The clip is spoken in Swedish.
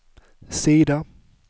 sida